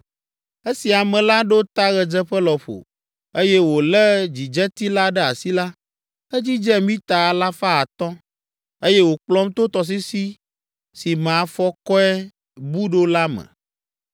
Esi ame la ɖo ta ɣedzeƒe lɔƒo, eye wòlé dzidzeti la ɖe asi la, edzidze mita alafa atɔ̃ (500), eye wòkplɔm to tɔsisi si me afɔkɔe bu ɖo la me.